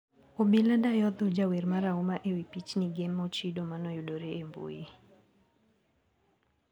obila dayo dho jawer marahuma e wii pichnige mochido manoyudore e mbui.